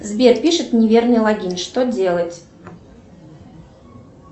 сбер пишет неверный логин что делать